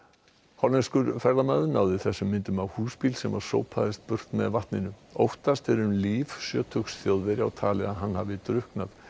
hollenskur ferðamaður náði þessum myndum af húsbíl sem sópaðist burt með vatninu óttast er um líf sjötugs Þjóðverja og talið að hann hafi drukknað